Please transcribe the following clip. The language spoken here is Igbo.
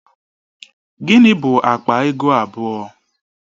Gịnị bụ akpa ego abụọ?